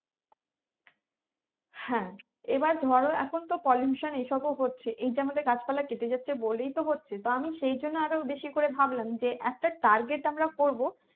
হ্যাঁ এবার ধরো এখন তো pollution এই সবও হচ্ছে এই যে আমাদের গাছ পালা কেটে যাচ্ছে বলেই তো হচ্ছে তো আমি সেই জন্য বেশি করে ভাবলাম যে একটা target আমরা করবো